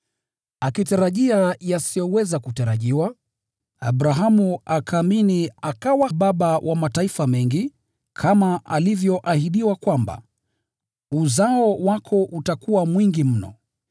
Akitarajia yasiyoweza kutarajiwa, Abrahamu akaamini, akawa baba wa mataifa mengi, kama alivyoahidiwa kwamba, “Uzao wako utakuwa mwingi mno.”